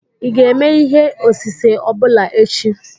ị ga-eme ihe osise ọ bụla echi?